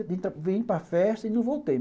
Aí eu vim para a festa e não voltei.